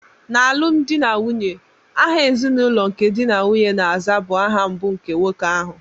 N'alụmdi na nwunye, aha ezinụlọ nke di na nwunye na-aza bụ aha mbụ nke nwoke ahụ.